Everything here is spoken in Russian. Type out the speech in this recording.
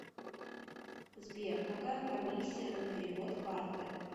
сбер какая комиссия на перевод карты